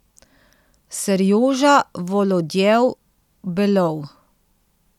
Serjoža Volodjev Belov.